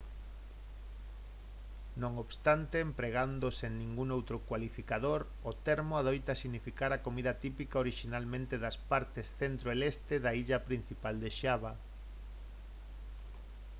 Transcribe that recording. non obstante empregado sen ningún outro cualificador o termo adoita significar a comida típica orixinalmente das partes centro e leste da illa principal de xava